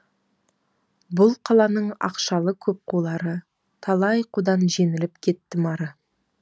бұл қаланың ақшалы көп қулары талай қудан жеңіліп кеттім ары